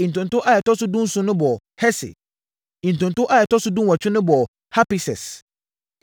Ntonto a ɛtɔ so dunson no bɔɔ Hesir. Ntonto a ɛtɔ so dunwɔtwe no bɔɔ Hapises.